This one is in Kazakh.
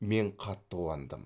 мен қатты қуандым